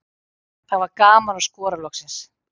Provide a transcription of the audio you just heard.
Það var gaman að skora loksins.